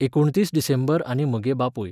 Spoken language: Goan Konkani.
एकुणतीस डिसेंबर आनी म्हगे बापूय